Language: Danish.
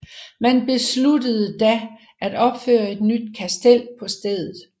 Man besluttede da at opføre et nyt kastel på stedet